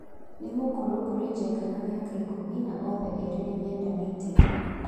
Nĩ mũkũrũ kũrĩ Njenga na mĩaka ikũmi no othe erĩ nĩmendanĩte.